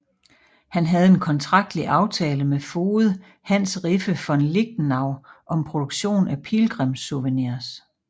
Han havde en kontraktlig aftale med foged Hans Riffe von Lichtenau om produktion af pilgrimssouvenirs